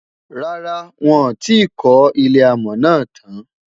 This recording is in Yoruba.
rárá, wón tí kò ilé amò nà tán